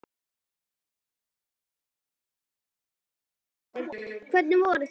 Eva Bergþóra Guðbergsdóttir: Hvernig voru þær?